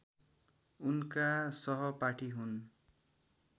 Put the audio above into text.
उनका सहपाठी हुन्